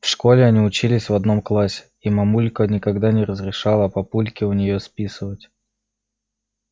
в школе они учились в одном классе и мамулька никогда не разрешала папульке у нее списывать